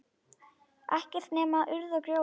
Ekkert nema urð og grjót.